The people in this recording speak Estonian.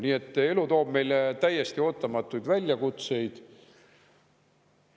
Nii et elu toob meile täiesti ootamatuid väljakutseid.